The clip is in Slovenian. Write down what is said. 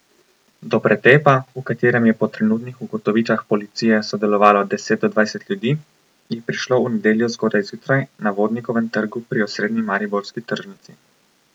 Do pretepa, v katerem je po trenutnih ugotovitvah policije sodelovalo deset do dvajset ljudi, je prišlo v nedeljo zgodaj zjutraj na Vodnikovem trgu pri osrednji mariborski tržnici.